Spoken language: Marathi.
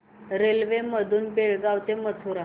रेल्वे मधून बेळगाव ते मथुरा